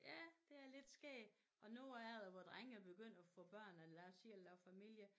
Ja det er lidt skægt og du er det vores drenge er begyndt at få børn og lave selv at lave familie